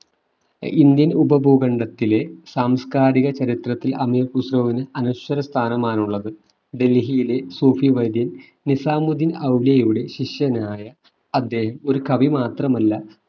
Indian ഉപഭൂഖണ്ഡത്തിലെ സാംസ്കാരിക ചരിത്രത്തിൽ അമീർ ഖുസ്രുവിനു അനശ്വരസ്ഥാനമാണുള്ളത് ഡൽഹിയിലെ സൂഫിവര്യൻ നിസാമുദ്ദിൻ ഔലിയുടെ ശിഷ്യനായ അദ്ദേഹം ഒരു കവി മാത്രമല്ല